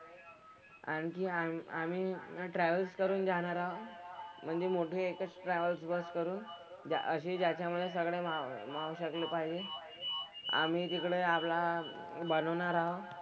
आणखी आम्ही आम्ही ना ट्रॅव्हल करून जाणार आहोत. म्हणजे मोठे एकच ट्रॅव्हल बस करून असे ज्याच्यामधे सगळं राहू शकलं पाहिजे. आम्ही तिकडे आपला हा बनवणार आहोत.